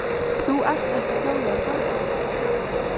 Þú ert ekki þjálfaður bardagamaður.